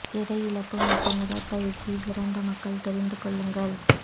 எடை இழப்பு மற்றும் உடல் உடற்பயிற்சி சிறந்த மக்கள் தெரிந்து கொள்ளுங்கள்